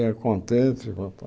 Ia contente e